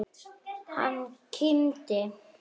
Hann kímdi.